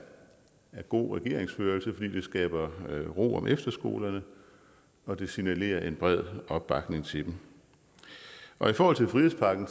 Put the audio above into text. god regeringsførelse fordi det skaber ro om efterskolerne og det signalerer en bred opbakning til dem og i forhold til frihedspakken